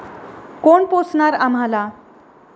कोण पोसणार आम्हाला?